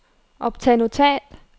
optag notat